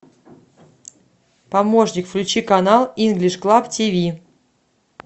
помощник включи канал инглиш клаб тиви